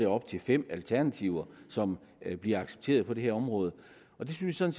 op til fem alternativer som bliver accepteret på det her område det synes jeg